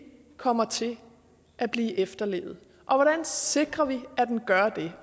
kommer til at blive efterlevet hvordan sikrer vi at den gør det